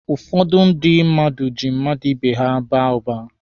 Ụfọdụ ndị mmadụ ji mmadụ ibe ha baa ụba.